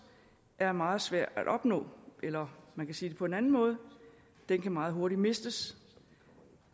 er meget svær at opnå eller man kan sige det på en anden måde den kan meget hurtigt mistes